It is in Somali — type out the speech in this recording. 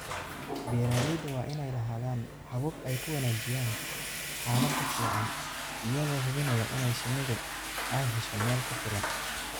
Beeralayda waa inay lahaadaan habab ay ku wanaajiyaan xaalada finan iyagoo hubinaya in shinnidu ay hesho meel ku filan.